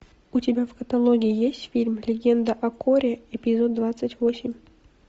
у тебя в каталоге есть фильм легенда о корре эпизод двадцать восемь